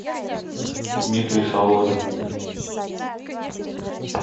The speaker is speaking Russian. дмитрий соломин